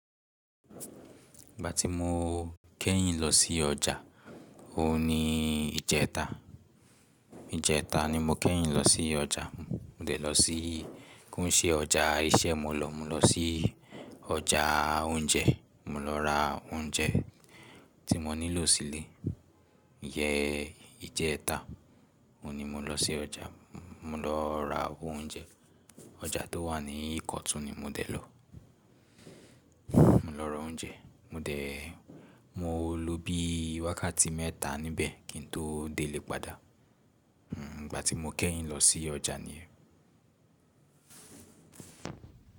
Ìgbàtí mo kẹ́yìn lọ sí ọjà òun ni ìjẹta, ìjẹta ni mo kẹ́yìn lọsí ọjà mo dẹ̀ lọ sí koun ṣe ọjà iṣẹ́ ni mo lọ mo lọ sí ọjà oúnjẹ mo lọ ra oúnjẹ tí mo nílò sílé. Iyẹ ìjẹta ni mo lọ sí ọjà, mo lọ ra oúnjẹ. Ọjà tó wà ni Ìkọ̀tún ni mo dẹ̀ lọ. Mo lọ ra oúnjẹ, mo dẹ̀, mo lò bí wákàtí mẹ́ta níbẹ̀ kí n tó dé lè padà. Hm ìgbàtí mo kẹ́yìn lọ sí ọjà nìyẹn.